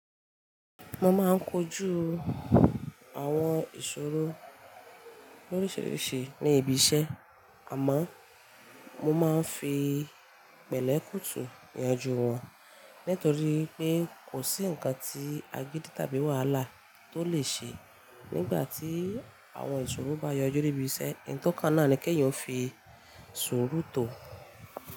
Mo máa ń kojú àwọn ìṣòro loríṣiríṣi ní ibi iṣẹ́, àmọ́ mo máa ń fi pẹ̀lẹ́ kùtù yanjú wọn nítorí wipé kò sí ǹkan tí agídí tàbí wàhálà tó lè ṣe nígbà tí àwọn ìṣòro bá yọjú ní ibi iṣẹ́. Eyi to kan náà ni kí èèyàn fi sùúrù tò.